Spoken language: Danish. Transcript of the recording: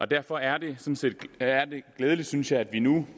derfor er det er det glædeligt synes jeg at vi nu